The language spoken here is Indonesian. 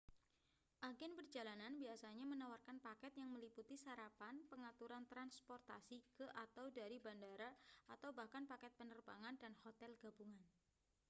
agen perjalanan biasanya menawarkan paket yang meliputi sarapan pengaturan transportasi ke / dari bandara atau bahkan paket penerbangan dan hotel gabungan